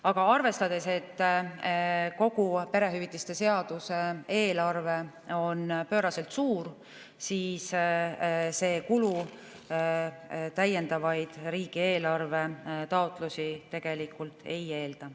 Aga arvestades, et kogu perehüvitiste seaduse eelarve on pööraselt suur, siis see kulu täiendavaid taotlusi riigieelarvest ei eelda.